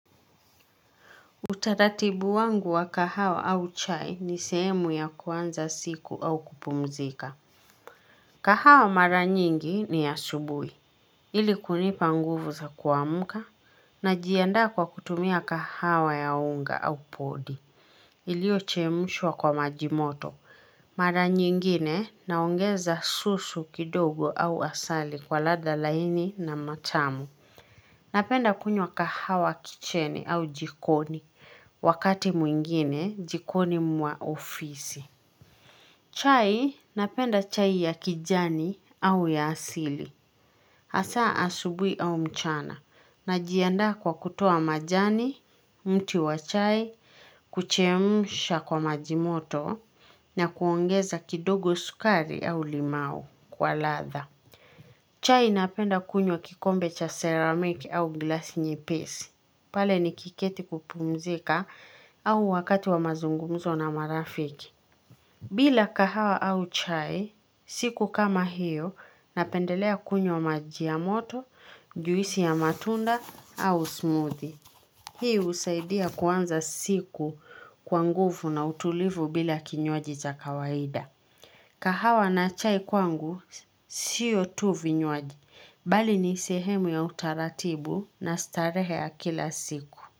Utaratibu wangu wa kahawa au chai ni sehemu ya kuanza siku au kupumzika. Kahawa mara nyingi ni asubuhi. Ili kunipa nguvu za kuamka, najiandaa kwa kutumia kahawa ya unga au podi. Iliyochemshwa kwa maji moto. Mara nyingine, naongeza susu kidogo au asali kwa ladha laini na matamu. Napenda kunywa kahawa 'kitchen' au jikoni, wakati mwingine jikoni mwa ofisi. Chai, napenda chai ya kijani au ya asili. Hasa asubuhi au mchana, najiandaa kwa kutoa majani, mti wa chai, kuchemsha kwa maji moto, na kuongeza kidogo sukari au limao kwa ladha. Chai napenda kunywa kikombe cha 'ceramic' au glasi nyepesi. Pale nikiketi kupumzika au wakati wa mazungumzo na marafiki. Bila kahawa au chai, siku kama hiyo, napendelea kunywa maji ya moto, juisi ya matunda au 'smoothie'. Hii husaidia kuanza siku kwa nguvu na utulivu bila kinywaji cha kawaida. Kahawa na chai kwangu siyo tu vinywaji. Bali ni sehemu ya utaratibu na starehe ya kila siku.